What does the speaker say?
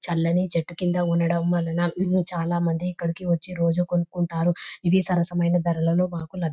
చల్లని చెట్టు కింద ఉండడం వల్లనా ఇది చాలామందికి ఇక్కడికి వచ్చి రోజు కొనుక్కంటారు. ఇవి సరసమైన ధరల లో మనకు లబి --